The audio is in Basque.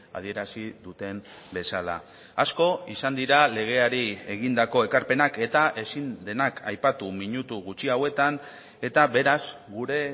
adierazi duten bezala asko izan dira legeari egindako ekarpenak eta ezin denak aipatu minutu gutxi hauetan eta beraz gure